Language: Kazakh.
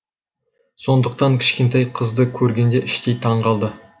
сондықтан кішкентай қызды көргенде іштей таң қалды